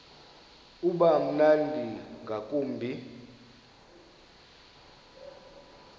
uba mnandi ngakumbi